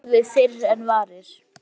Svo er það horfið fyrr en varir.